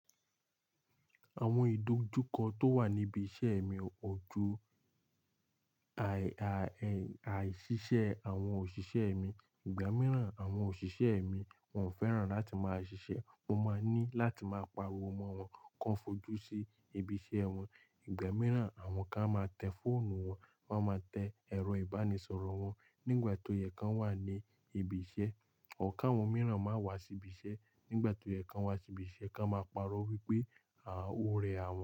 Awon idojuko to wa nibi ise mi ko ju àìṣiṣẹ́ àwọn òṣìṣẹ́ mi. Ìgbà mìíràn àwọn òṣìṣẹ́ mi wọn ò fẹ́ràn láti máa ṣiṣẹ́, wọ́n máa ní láti máa pariwo mọ́ wọn, kan fojú sí ibi iṣẹ́ wọn. Ìgbà mìíràn àwọn kan máa tẹ fóònù wọn, wọ́n máa tẹ ẹ̀rọ ìbánisọ̀rọ̀ wọn nígbà tó yẹ kí wọ́n wà ní ibi iṣẹ́. Or kawọn mìíràn máa wá sí ibi iṣẹ́ nígbà tó yẹ kí wọ́n wá sí ibi iṣẹ́, kan máa paro wípé, "ọ rẹ àwọn".